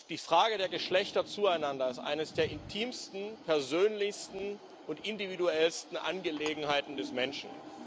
Die Frage der Geschlechter zueinander ist eine der intimsten, persönlichsten und individuellsten Angelegenheiten des Menschen.